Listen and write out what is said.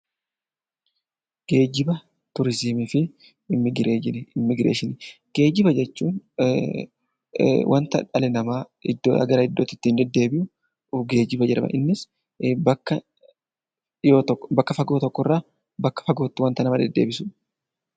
Geejjiba, turizimii fi immigireeshinii. Geejjiba jechuun wanti dhalli namaa iddoodhaa gara iddoo biraatti ittiin deemu geejjiba jedhama. Innis naka fagoo tokko irraa bakka fagoo tokkotti waan nama deddeebisuudha.